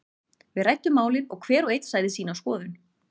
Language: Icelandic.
Við ræddum málin og hver og einn sagði sína skoðun.